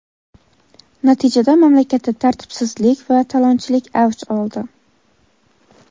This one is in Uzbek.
Natijada mamlakatda tartibsizlik va talonchilik avj oldi.